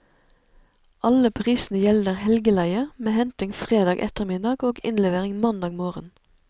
Alle prisene gjelder helgeleie, med henting fredag ettermiddag og innlevering mandag morgen.